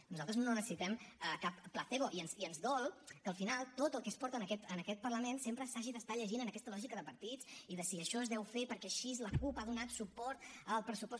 nosaltres no necessitem cap placebo i ens dol que al final tot el que es porta a aquest parlament sempre s’hagi d’estar llegint en aquesta lògica de partits i de si això es deu fer perquè així la cup ha donat suport al pressupost